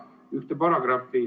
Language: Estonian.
Üks paragrahv.